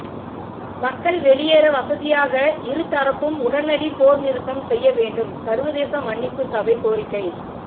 மக்கள் வெளியேற வசதியாக இருதரப்பும் உடனடி போர் நிறுத்தம் செய்ய வேண்டும் சர்வதேச மன்னிப்புச் சபை கோரிக்கை